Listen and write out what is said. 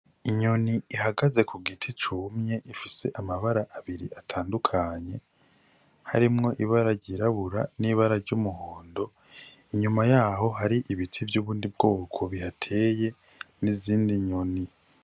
Inyoni ihagaze ku giti cumye ifise amabara abiri atandukanye harimwo ibara ryirabura n'ibara ry'umuhondo inyuma yaho hari ibiti vyubundi bwoko bihateye nizindi nyoni.